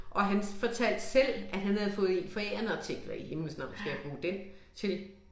Og han fortalte selv at han havde fået en forærende og tænkte hvad i himlens navn skal jeg bruge den til